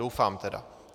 Doufám tedy.